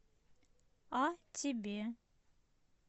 а тебе